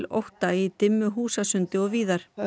ótta í dimmu húsasundi og víðar og